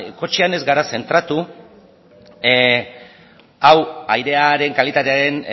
kotxean ez gara zentratu hau airearen kalitatearen